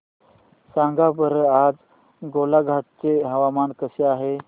सांगा बरं आज गोलाघाट चे हवामान कसे आहे